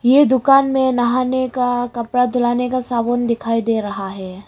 ये दुकान मे नहाने का कपड़ा धुलाने का साबुन दिखाई दे रहा है।